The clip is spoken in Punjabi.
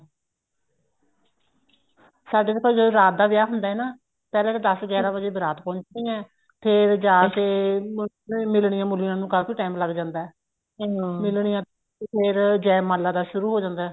ਸਾਡੇ ਤਾਂ ਵੀ ਜਦੋਂ ਰਾਤ ਦਾ ਵਿੱਚ ਹੁੰਦਾ ਨਾ ਪਹਿਲਾਂ ਤਾਂ ਦਸ ਗਿਆਰਾਂ ਵਜੇ ਬਾਰਾਤ ਪਹੁੰਚਦੀ ਹੈ ਫ਼ੇਰ ਜਾ ਕੇ ਮਿਲਣੀਆਂ ਮੁਲਨੀਆਂ ਨੂੰ ਕਾਫੀ time ਲੱਗ ਜਾਂਦਾ ਤੇ ਫ਼ੇਰ ਜੈ ਮਾਲਾ ਦਾ ਸ਼ੁਰੂ ਹੋ ਜਾਂਦਾ